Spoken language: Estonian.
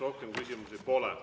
Rohkem küsimusi pole.